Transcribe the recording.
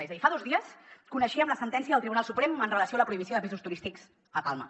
és a dir fa dos dies coneixíem la sentència del tribunal suprem en relació amb la prohibició de pisos turístics a palma